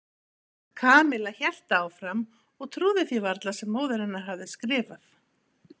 Kamilla hélt áfram og trúði því varla sem móðir hennar hafði skrifað.